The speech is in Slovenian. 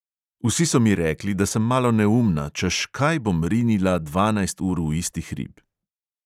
Vsi so mi rekli, da sem malo neumna, češ kaj bom rinila dvanajst ur v isti hrib.